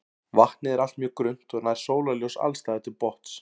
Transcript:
Vatnið er allt mjög grunnt og nær sólarljós alls staðar til botns.